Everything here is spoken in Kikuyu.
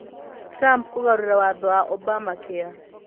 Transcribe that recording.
Trump kũgarũra watho wa Obamacare